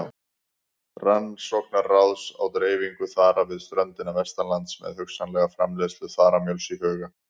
Rannsóknaráðs á dreifingu þara við ströndina vestanlands með hugsanlega framleiðslu þaramjöls í huga.